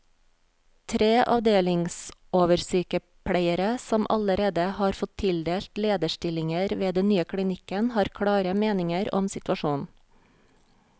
Tre avdelingsoversykepleiere, som allerede har fått tildelt lederstillinger ved den nye klinikken, har klare meninger om situasjonen.